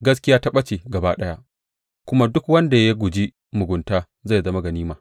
Gaskiya ta ɓace gaba ɗaya, kuma duk wanda ya guji mugunta zai zama ganima.